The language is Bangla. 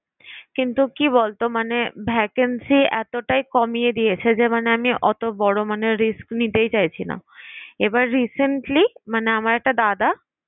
কিন্তু কি বলতো মানে vacancy এতটাই কমিয়ে দিয়েছে যে মানে আমি অত বড় মানের risk নিতেই চাইছি না এবার recently মানে আমার একটা দাদা